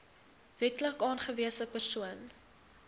wetlik aangewese persoon